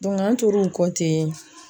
an tor'o kɔ